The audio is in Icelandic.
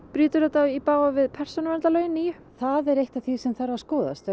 brýtur þetta í bága við persónuverndarlögin nýju það er eitt af því sem þarf að skoðast